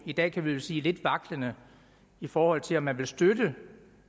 i dag kan vi vel sige lidt vaklende i forhold til om man vil støtte